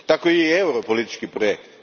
Tako je i euro politički projekt.